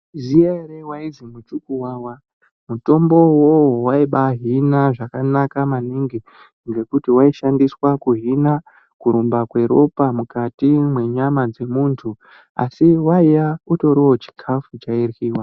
Maiziya ere waizi Mutikuwawa. Mutombo iwowowo waibahina zvakanaka maningi ngekuti waishandiswa kuhina, kurumba kweropa mwukati mwenyama dzemuntu asi waiya utoriwo chikafu chairyiwa.